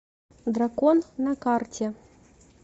дракон на карте